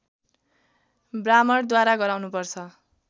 ब्राह्मणद्वारा गराउनुपर्छ